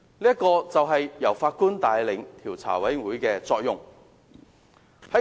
這就是由法官帶領獨立調查委員會的作用。